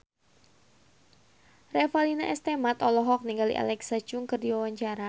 Revalina S. Temat olohok ningali Alexa Chung keur diwawancara